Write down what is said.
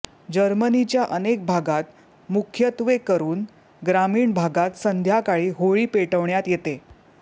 जर्मनीच्या अनेक भागात मुख्यत्वेकरून ग्रामीण भागात संध्याकाळी होळी पेटवण्यात येते